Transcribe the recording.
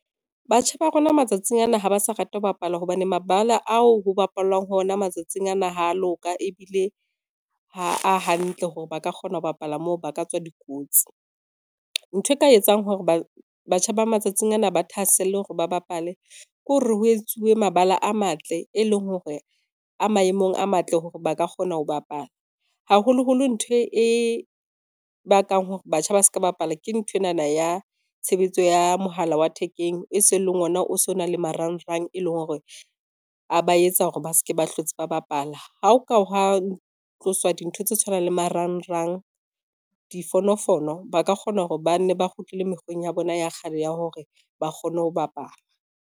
Batjha ba rona matsatsing ana ha ba sa rata ho bapala, hobane mabala ao ho bapallwang ho ona matsatsing ana ha a loka ebile ha a hantle hore ba ka kgona ho bapala moo, ba ka tswa dikotsi. Ntho e ka etsang hore batjha ba matsatsing ana ba thahaselle hore ba bapale ke hore ho etsuwe mabala a matle, e leng hore a maemong a matle hore ba ka kgona ho bapala. Haholoholo ntho e bakang hore batjha ba ska bapala ke nthwenana ya tshebetso ya mohala wa thekeng e seng e le ona o so na le marangrang, e leng hore a ba etsa hore ba se ke ba hlotse ba bapala. Ha ho ka hwa tlosa dintho tse tshwanang le marangrang, difonofono ba ka kgona hore ba nne ba kgutlele mekgweng ya bona ya kgale ya hore ba kgone ho bapala.